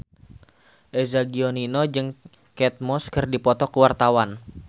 Eza Gionino jeung Kate Moss keur dipoto ku wartawan